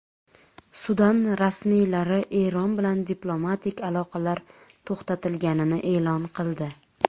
Sudan rasmiylari Eron bilan diplomatik aloqalar to‘xtatilganini e’lon qildi.